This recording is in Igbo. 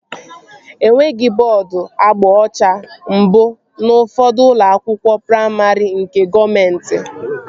Enweghị bọọdu agba ọcha mbụ n'ufodu ụlọ akwụkwọ praimarị nke gọọmenti